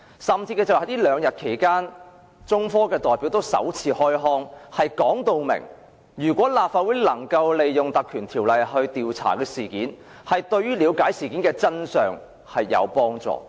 這兩天，中科興業有限公司代表首次開腔，表明如果立法會能夠引用《條例》成立專責委員會調查事件，對於了解事件的真相有幫助。